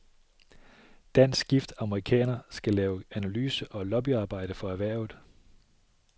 Danskgift amerikaner skal lave analyse og lobbyarbejde for erhvervet.